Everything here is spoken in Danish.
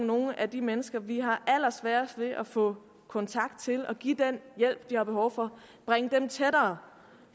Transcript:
nogle af de mennesker vi har allersværest ved at få kontakt til og give den hjælp de har behov for tættere